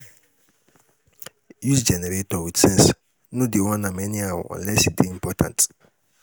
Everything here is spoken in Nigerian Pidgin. use generator wit sense no dey on am anyhow unless e dey important